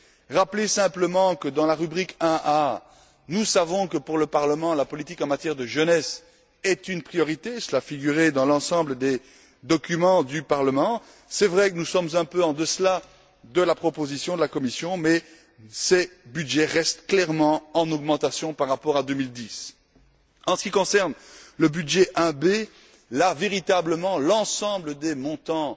Je voudrais rappeler simplement que, dans la rubrique 1A, nous savons que, pour le Parlement, la politique en matière de jeunesse est une priorité. Cela figurait dans l'ensemble des documents du Parlement. Il est vrai que nous sommes un peu en deçà de la proposition de la Commission, mais ces budgets restent clairement en augmentation par rapport à 2010. En ce qui concerne la rubrique 1B, là, véritablement, l'ensemble des montants